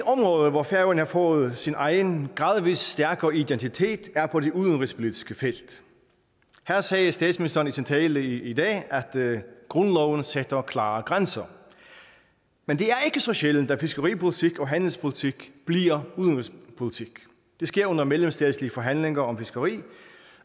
hvor færøerne har fået sin egen gradvis stærkere identitet er på det udenrigspolitiske felt her sagde statsministeren i sin tale i dag at grundloven sætter klare grænser men det er ikke så sjældent at fiskeripolitik og handelspolitik bliver udenrigspolitik det sker under mellemstatslige forhandlinger om fiskeri